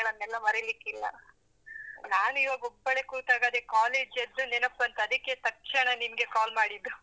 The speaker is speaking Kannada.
ನಾನು ಇವಾಗ ಒಬ್ಬಳೇ ಕೂತಾಗ ಅದೇ college ದ್ದು ನೆನಪ್ ಬಂತು ಅದಕ್ಕೆ ತಕ್ಷಣ ನಿನ್ಗೆ call ಮಾಡಿದ್ದು.